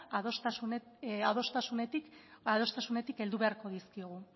adostasunetik heldu beharko dizkiogu